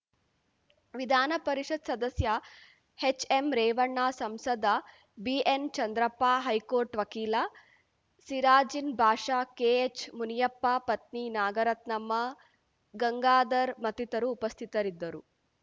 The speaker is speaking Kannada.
ವಿಧಾನ ಪರಿಷತ್‌ ಸದಸ್ಯ ಹೆಚ್‌ಎಂರೇವಣ್ಣ ಸಂಸದ ಬಿಎನ್‌ಚಂದ್ರಪ್ಪ ಹೈಕೋರ್ಟ್‌ ವಕೀಲ ಸಿರಾಜಿನ್‌ ಬಾಷಾ ಕೆಎಚ್‌ಮುನಿಯಪ್ಪ ಪತ್ನಿ ನಾಗರತ್ನಮ್ಮ ಗಂಗಾಧರ್‌ ಮತ್ತಿತರು ಉಪಸ್ಥಿತರಿದ್ದರು